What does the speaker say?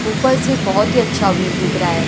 ऊपर से बहोत ही अच्छा व्यू दिख रहा है।